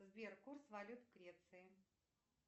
сбер курс валют греции